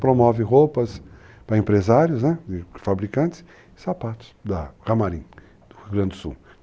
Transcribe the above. Promove roupas para empresários, fabricantes e sapatos da Camarim, do Rio Grande do Sul.